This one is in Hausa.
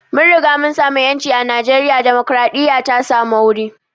Mun riga mun samu ƴanci a najeriya, dimokraɗiya ta samu wuri